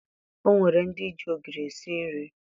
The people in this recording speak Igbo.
O nwere ndị ji ogiri esi nri